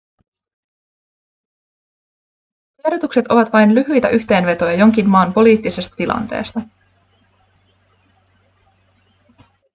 tiedotukset ovat vain lyhyitä yhteenvetoja jonkin maan poliittisesta tilanteesta